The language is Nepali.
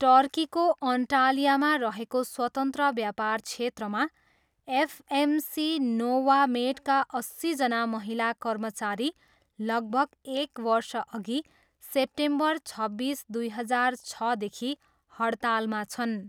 टर्कीको अन्टाल्यामा रहेको स्वतन्त्र व्यापार क्षेत्रमा, एफएमसी नोवामेडका अस्सीजना महिला कर्मचारी लगभग एक वर्षअघि, सेप्टेम्बर छब्बिस, दुई हजार छदेखि हडतालमा छन्।